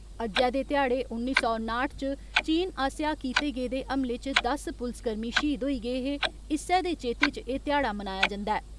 अज्जै दे ध्याड़े उन्नी सौ नाठ च चीन आस्सेया कीते गेदे हमले च दस पुलसकर्मी शहीद होई गे हे इस्सै दे चेते च ए ध्याड़ा मनाया जन्दा ऐ।